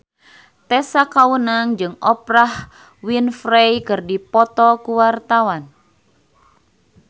Tessa Kaunang jeung Oprah Winfrey keur dipoto ku wartawan